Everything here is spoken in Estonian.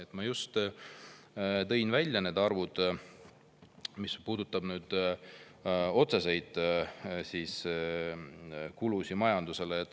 Ma tõin just välja need arvud, mis puudutavad otseseid kulusid majandusele.